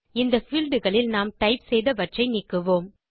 இந்த பீல்ட் களில் நாம் டைப் செய்தவற்றை நீக்குவோம்